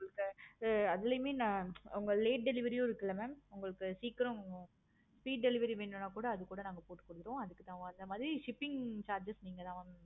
அதுலையுமே உங்க late delivery இருக்குல்ல mam உங்களுக்கு சீக்கிறோம் free delivery வேணும்னா கூட அது கூட நாங்க போட்டு கொடுத்துருவோம். அதுக்கு தகுந்த மாதிரி அந்த மாதிரி shipping charges நீங்க தான்